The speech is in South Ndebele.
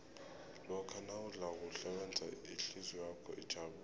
lokha nawudla kuhle wenza ihlizwakho ijabule